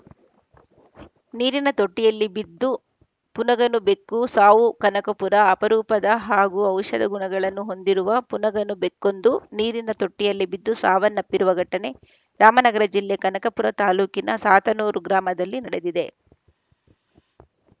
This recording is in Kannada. ನೀರಿನ ತೊಟ್ಟಿಯಲ್ಲಿ ಬಿದ್ದು ಪುನಗನ ಬೆಕ್ಕು ಸಾವು ಕನಕಪುರ ಅಪರೂಪದ ಹಾಗೂ ಔಷಧ ಗುಣಗಳನ್ನು ಹೊಂದಿರುವ ಪುನಗನ ಬೆಕ್ಕೊಂದು ನೀರಿನ ತೊಟ್ಟಿಯಲ್ಲಿ ಬಿದ್ದು ಸಾವನ್ನಪ್ಪಿರುವ ಘಟನೆ ರಾಮನಗರ ಜಿಲ್ಲೆ ಕನಕಪುರ ತಾಲೂಕಿನ ಸಾತನೂರು ಗ್ರಾಮದಲ್ಲಿ ನಡೆದಿದೆ